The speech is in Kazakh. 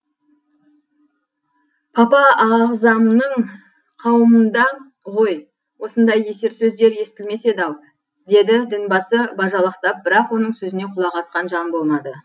папа ағзамның қауымында ғой осындай есер сөздер естілмес еді ау деді дін басы бажалақтап бірақ оның сөзіне құлақ асқан жан болмады